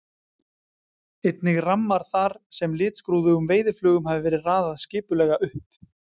Einnig rammar þar sem litskrúðugum veiðiflugum hafði verið raðað skipulega upp.